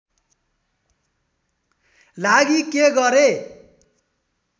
लागि के गरेँ